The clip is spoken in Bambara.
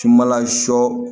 Tumala sɔ